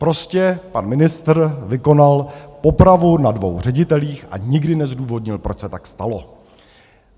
Prostě pan ministr vykonal popravu na dvou ředitelích a nikdy nezdůvodnil, proč se tak stalo.